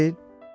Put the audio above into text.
Elə deyil?